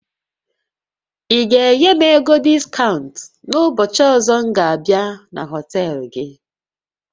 Ị ga-enye m ego diskaụnt n'ụbọchị ọzọ m ga abịa na họtel gị?